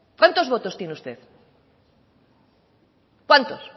cuánto votos tiene usted cuántos